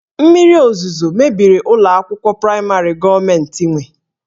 Mmiri ozuzo mebiri ụlọ akwụkwọ praịmarị gọọmentị nwe